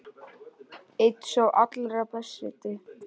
Einn sá allra besti.